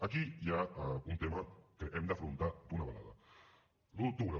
aquí hi ha un tema que hem d’afrontar d’una vegada l’un d’octubre